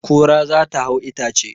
Kura za ta hau itace